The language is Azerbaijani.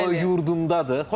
O yurdundadır.